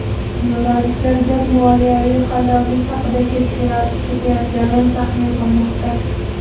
Jurnalistlar gap moliyaviy qalloblik haqida ketayotganini taxmin qilmoqda.